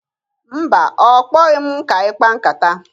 Mba, ọ kpọghị m ka anyị kpaa nkata.